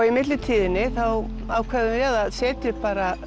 í millitíðinni ákváðum við að setja upp